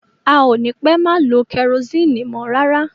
A ò ní pẹ́ má lo kẹrosini mọ́ rárá.